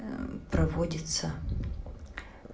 проводится